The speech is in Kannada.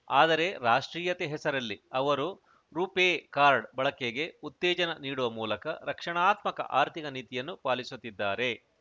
ಆದರೆ ರಾಷ್ಟ್ರೀಯತೆ ಹೆಸರಲ್ಲಿ ಅವರು ರು ಪೇ ಕಾರ್ಡ್‌ ಬಳಕೆಗೆ ಉತ್ತೇಜನ ನೀಡುವ ಮೂಲಕ ರಕ್ಷಣಾತ್ಮಕ ಆರ್ಥಿಕ ನೀತಿಯನ್ನು ಪಾಲಿಸುತ್ತಿದ್ದಾರೆ